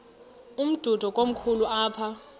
umdudo komkhulu apha